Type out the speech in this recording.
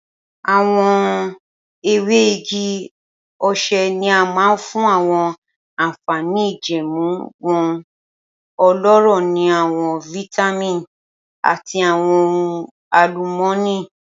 Awọn ewe igi ose ni a mọ fun awọn anfani ijẹẹmu wọn, ọlọrọ ni awọn vitamin ati awọn ohun alumọni.